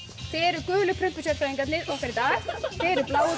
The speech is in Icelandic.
þið eruð gulu prumpu sérfræðingarnir okkar í dag þið eruð bláu